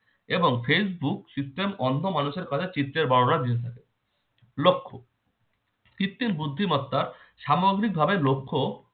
এবং facebook system অন্ধ মানুষের কাছে চিত্রের দিতে পারে। লক্ষ- কৃত্রিম বুদ্ধিমত্তা সামগ্রিকভাবে লক্ষ্য